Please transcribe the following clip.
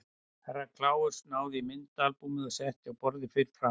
Herra Kláus náði í myndaalbúmið og setti á borðið fyrir framan sig.